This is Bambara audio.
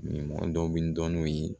Mɔgɔ dɔw bi n dɔn n'o ye